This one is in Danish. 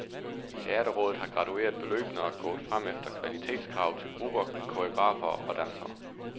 Teaterrådet har gradueret beløbene og er gået frem efter kvalitetskrav til grupper, koreografer og dansere.